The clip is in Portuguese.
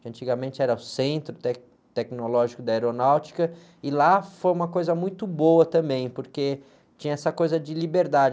que antigamente era o centro, té, tecnológico da aeronáutica, e lá foi uma coisa muito boa também, porque tinha essa coisa de liberdade.